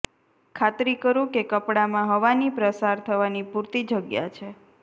ખાતરી કરો કે કપડાંમાં હવાની પ્રસાર થવાની પૂરતી જગ્યા છે